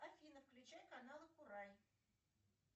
афина включай каналы курай